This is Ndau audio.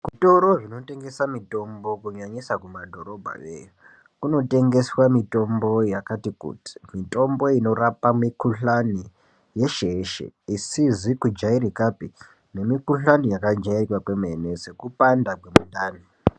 Zvitoro zvinotengesa mitombo kunyanyisa kumadhorobha yo, kunotengeswa mitombo yakati kuti. Mitombo inorapa mikhuhlani yeshe yeshe isizi kujairikapi nemikhuhlani yakajairika kwemene sekupanda kwemundani.